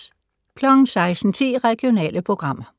16:10: Regionale programmer